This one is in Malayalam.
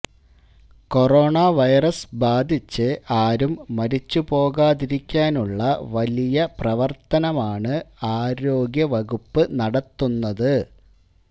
കൊറോണ വൈറസ് ബാധിച്ച് ആരും മരിച്ച് പോകാതിരിക്കാനുള്ള വലിയ പ്രവര്ത്തനമാണ് ആരോഗ്യ വകുപ്പ് നടത്തുന്നത്